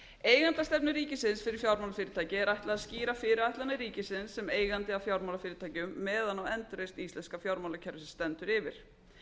eigendastefnu ríkisins fyrir fjármálafyrirtæki er ætlað að skýra fyrirætlanir ríkisins sem eigandi að fjármálafyrirtækjum meðan á endurreisn íslenska fjármálakerfisins stendur yfir